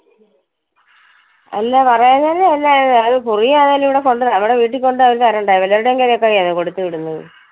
അല്ല പറയാഞ്ഞേന്റെ അല്ല. അഹ് അത് കുറി ആണേലും ഇവിടെ കൊണ്ടുവന്ന് നമ്മുടെ വീട്ടിൽ കൊണ്ടുവന്ന് അവര് തരണ്ടായോ. വെല്ലോരുടേം കൈയിൽ ഒക്കെ ആണോ കൊടുത്തുവിടുന്നത്.